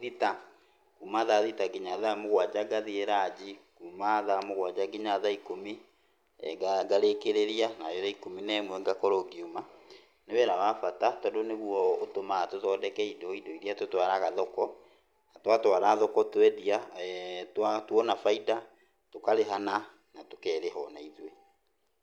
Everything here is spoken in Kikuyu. thita, kuma thaa thita kinya thaa mũgwanja ngathiĩ rangi, kuma thaa mũgwanja kinya thaa ikũmi ngarĩkĩrĩria na thaa ikũmi na imwe ngakorwo ngiuma. Nĩ wĩra wa bata tondũ nĩguo ũtũmaga tũthondeke indo, indo iria tũtwaraga thoko, na twatwara thoko twendia, tuona bainda tũkarĩhana na tũkerĩha ona ithuĩ.